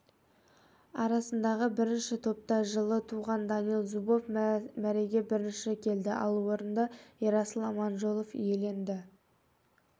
арасындағы бірінші топта жылы туған данил зубцов мәреге бірінші келді ал орынды ерасыл аманжолов иеленді